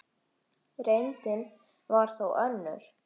Reyndin var þó önnur.